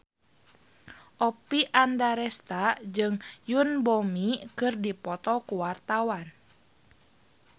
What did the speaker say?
Oppie Andaresta jeung Yoon Bomi keur dipoto ku wartawan